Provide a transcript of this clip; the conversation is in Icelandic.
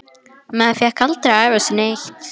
Maður fékk aldrei að æfa sig neitt.